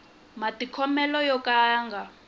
matikhomelo yo ka ya nga